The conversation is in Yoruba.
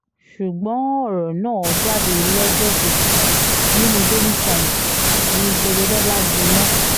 ṣùgbọ́n ọ̀rọ̀ náà jáde lọ́jọ́ kejì nínú daily times ni gbẹgẹdẹ bá gbiná